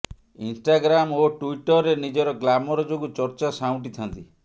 Instagram ଓ ଟ୍ୱିଟର୍ରେ ନିଜର ଗ୍ଲାମର ଯୋଗୁ ଚର୍ଚ୍ଚା ସାଉଁଟିଥାନ୍ତି